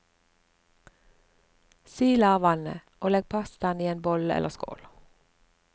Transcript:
Sil av vannet, og legg pastaen i en bolle eller skål.